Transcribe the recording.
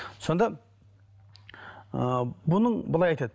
сонда ыыы бұның былай айтады